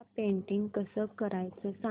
मला पेंटिंग कसं करायचं सांग